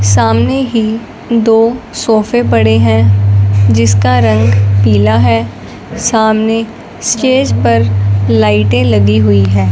सामने ही दो सोफे पड़े हैं जिसका रंग पीला है सामने स्टेज पर लाइटें लगी हुई हैं।